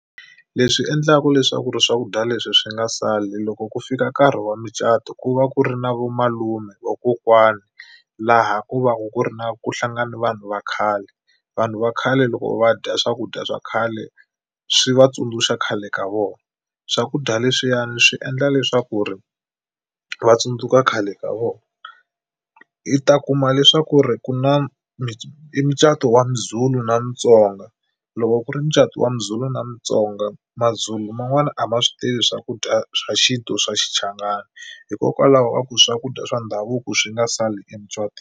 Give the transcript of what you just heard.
Leswi endlaka leswaku ri swakudya leswi swi nga sali loko ku fika nkarhi wa mucato ku va ku ri na vamalume vakokwani laha ku va ku ku ri na ku hlangane vanhu va khale. Vanhu va khale loko va dya swakudya swa khale swi va tsundzuxa khale ka vona. Swakudya leswiyani swi endla leswaku ri va tsundzuka khale ka vona. I ta kuma leswaku ri ku na i mucato wa muZulu na Mutsonga loko ku ri mucato wa muzulu na mutsonga maZulu man'wani a ma swi tivi swakudya swa xintu swa Xichangani hikokwalaho ka ku swakudya swa ndhavuko swi nga sali emucatweni.